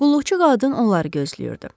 Qulluqçu qadın onları gözləyirdi.